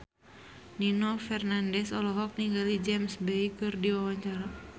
Nino Fernandez olohok ningali James Bay keur diwawancara